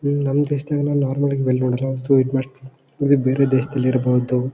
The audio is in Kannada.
ಇದು ನಮ್ಮ್ ದೇಶದಲ್ಲ ಇದು ಬೇರೆ ದೇಶದಲ್ಲಿರಬಹುದು.